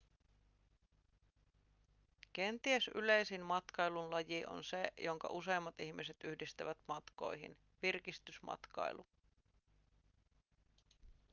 kenties yleisin matkailun laji on se jonka useimmat ihmiset yhdistävät matkoihin virkistysmatkailu